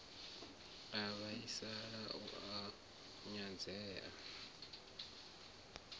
u vhaisala na u nyadzea